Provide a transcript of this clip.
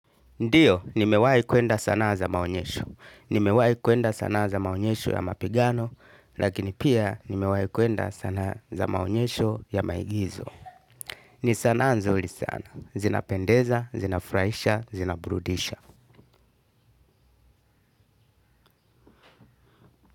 Ndiyo, nimewahi kwenda sanaa za maonyesho. Nimewahi kwenda sanaa za maonyesho ya mapigano, lakini pia nimewahi kwenda sanaa za maonyesho ya maigizo. Ni sanaa nzuri sana. Zinapendeza, zinafurahisha, zinaburudisha.